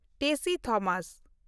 Tessy Thomas